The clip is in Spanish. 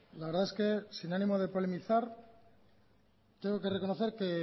la verdad es que sin animo de polemizar tengo que reconocer que